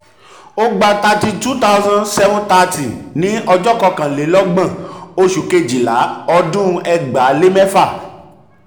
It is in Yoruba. ó gba thirty two thousand seven thirty ní ọjọ́ kọkànlélọ́gbọ̀n oṣù kejìlá ọdún ẹgbàá lé mẹ́fà.